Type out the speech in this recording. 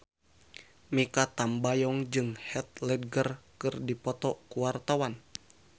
Mikha Tambayong jeung Heath Ledger keur dipoto ku wartawan